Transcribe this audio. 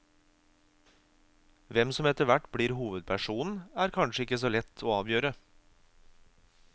Hvem som etterhvert blir hovedpersonen er kanskje ikke så lett å avgjøre.